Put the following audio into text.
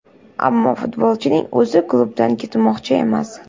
Ammo futbolchining o‘zi klubdan ketmoqchi emas.